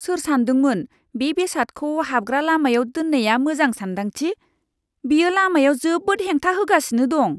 सोर सान्दोंमोन बे बेसादखौ हाबग्रा लामायाव दोननाया मोजां सानदांथि? बेयो लामायाव जोबोद हेंथा होगासिनो दं!